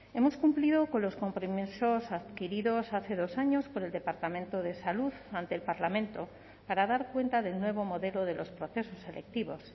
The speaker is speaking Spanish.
hemos cumplido con los compromisos adquiridos hace dos años por el departamento de salud ante el parlamento para dar cuenta del nuevo modelo de los procesos selectivos